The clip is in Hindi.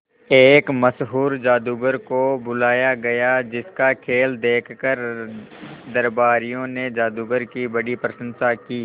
एक मशहूर जादूगर को बुलाया गया जिस का खेल देखकर दरबारियों ने जादूगर की बड़ी प्रशंसा की